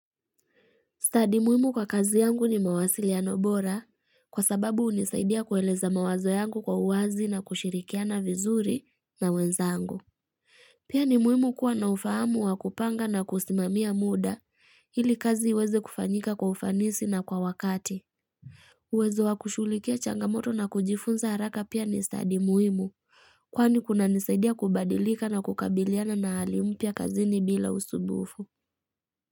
Stadi muhimu kwa kazi yangu ni mawasiliano bora kwa sababu hunisaidia kueleza mawazo yangu kwa uwazi na kushirikiana vizuri na wenzangu. Pia ni muhimu kuwa na ufahamu wa kupanga na kusimamia muda ili kazi iweze kufanyika kwa ufanisi na kwa wakati. Uwezo wa kushughulikia changamoto na kujifunza haraka pia ni stadi muhimu kwani kunanisaidia kubadilika na kukabiliana na hali mpya kazini bila usumbufu.